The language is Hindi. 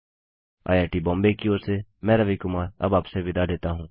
आईआईटी बॉम्बे की ओर से मैं रवि कुमार अब आपसे विदा लेता हूँ